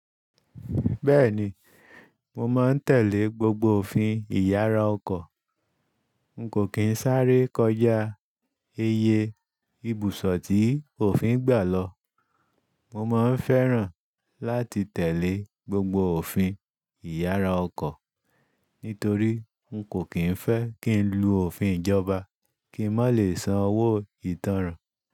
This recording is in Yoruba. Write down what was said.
Bẹ́ẹ̀ni, mo máa ń tẹ̀lé gbogbo òfin Ìyára ọkọ̀. N kò kín sáré kọjá iyẹ ibùsọ̀ tí òfin gbà lọ. Mọ máa ń fẹ́ràn láti tẹ̀lé gbogbo òfin Ìyára ọkọ̀. Nítorí n kò kín fẹ́ kí n lu òfin ìjọba kí n má lè sàn owó ìtanràn.